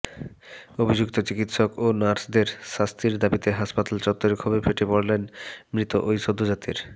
অভিযুক্ত চিকিৎসক ও নার্সদের শাস্তির দাবিতে হাসপাতাল চত্বরে ক্ষোভে ফেটে পড়েন মৃত ওই সদ্যোজাতের